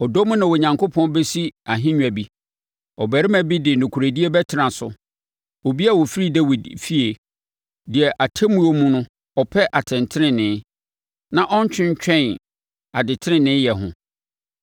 Ɔdɔ mu na Onyankopɔn bɛsi ahennwa bi; ɔbarima bi de nokorɛdie bɛtena so, obi a ɔfiri Dawid efie, deɛ atemmuo mu no ɔpɛ atɛntenenee na ɔntwentwɛn adeteneneeyɛ ho.